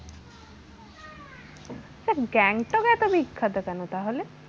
আচ্ছা গ্যাংটক এত বিখ্যাত কেনো তাহলে?